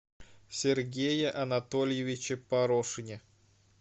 сергее анатольевиче порошине